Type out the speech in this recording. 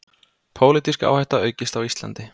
Pólitísk áhætta aukist á Íslandi